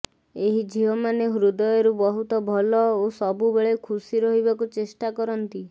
ଏହି ଝିଅମାନେ ହୃଦୟରୁ ବହୁତ ଭଲ ଓ ସବୁବେଳେ ଖୁସି ରହିବାକୁ ଚେଷ୍ଟା କରନ୍ତି